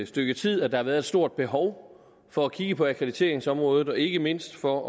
stykke tid at der har været et stort behov for at kigge på akkrediteringsområdet ikke mindst for